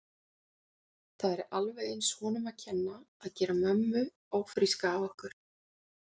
Það er alveg eins honum að kenna að gera mömmu ófríska af okkur.